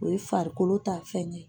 O ye farikolo ta fɛn ye.